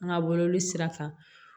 An ka bɔlɔlɔ sira kan